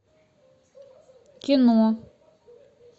кино